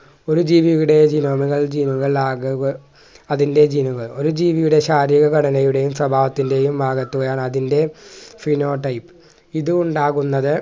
ഒരു ജീവിയുടെയും ജീവികൾ ആഗമ അതിൻ്റെ gene കൾ ഒരു ജീവിയുടെ ശാരീരിക ഘടനയുടെയും സ്വഭാവത്തിൻ്റെയും ആകെത്തുകയാണ് അതിൻ്റെ phenotype ഇത് ഉണ്ടാകുന്നത്